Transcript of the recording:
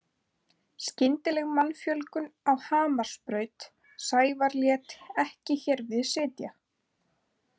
Skyndileg mannfjölgun á Hamarsbraut Sævar lét ekki hér við sitja.